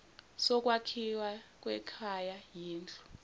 sokwakhiwa kwekhaya yindlu